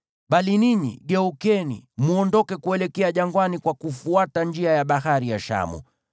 Bali ninyi geukeni, mwondoke kuelekea jangwani kwa kufuata njia ya Bahari ya Shamu.”